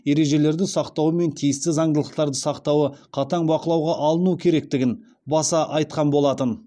ережелерді сақтауы мен тиісті заңдылықтарды сақтауы қатаң бақылауға алыну керектігін баса айтқан болатын